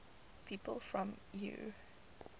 people from eure